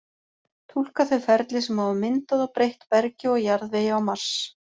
Túlka þau ferli sem hafa myndað og breytt bergi og jarðvegi á Mars.